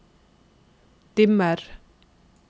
dimmer